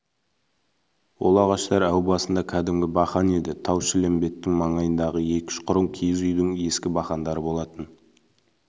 ол ағаштар әу басында кәдімгі бақан еді тау-шілмембеттің маңдайындағы екі-үш құрым киіз үйдің ескі бақандары болатын